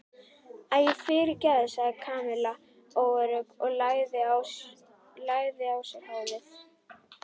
Æi, fyrirgefðu sagði Kamilla óörugg og lagaði á sér hárið.